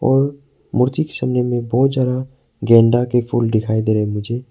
और मूर्ति के सामने में बहुत ज्यादा गेंदा के फूल दिखाई दे रहे मुझे।